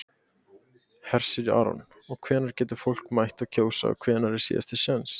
Hersir Aron: Og hvenær getur fólk mætt að kjósa og hvenær er síðasti séns?